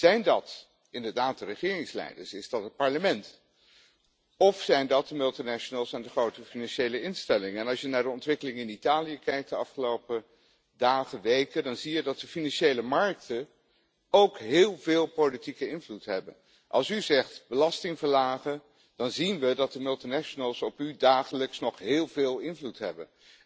Zijn dat inderdaad de regeringsleiders, is dat het Parlement of zijn dat de multinationals en de grote financiële instellingen? Als je kijkt naar de ontwikkelingen van de afgelopen dagen, weken, in Italië, dan zie je dat de financiële markten ook heel veel politieke invloed hebben. Als u zegt belasting verlagen, dan zien we dat de multinationals dagelijks nog heel veel invloed op u hebben.